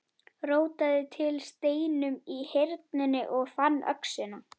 Rótaði til steinum í Hyrnunni og fann öxina.